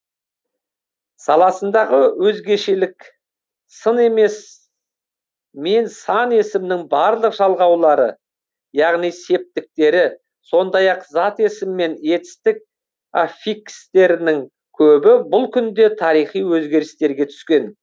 саласындағы өзгешелік сын емес мен сан есімнің барлық жалғаулары яғни септіктері сондай ақ зат есім мен етістік аффикстерінің көбі бұл күнде тарихи өзгерістерге түскен